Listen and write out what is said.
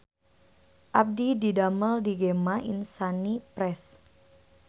Abdi didamel di Gema Insani Press